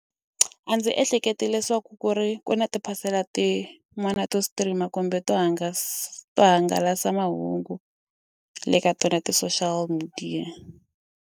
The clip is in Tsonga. A ndzi ehleketi leswaku ku ri ku na tiphasela tin'wana to stream kumbe to hungasa hangalasa mahungu le ka tona ti-social media.